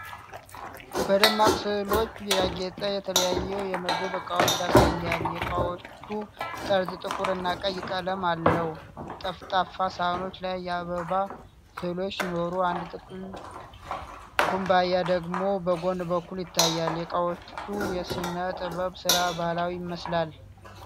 በደማቅ ሥዕሎች ያጌጡ የተለያዩ የምግብ ዕቃዎችን ያሳያል። የዕቃዎቹ ጠርዝ ጥቁርና ቀይ ቀለም አለው። ጠፍጣፋ ሳህኖች ላይ የአበባ ሥዕሎች ሲኖሩ፣ አንድ ጥልቅ ኩባያ ደግሞ በጎን በኩል ይታያል። የዕቃዎቹ የሥነ-ጥበብ ሥራ ባህላዊ ይመስላል።